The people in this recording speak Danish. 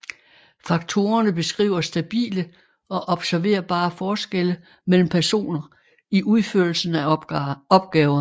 Faktorerne beskriver stabile og observerbare forskelle mellem personer i udførelsen af opgaver